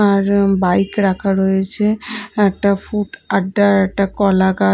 এবার বাইক রাখা রয়েছে একটা ফুট একটা একটা কলাগা --